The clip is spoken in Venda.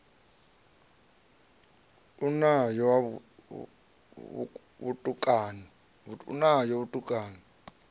o no ya ho vhutukani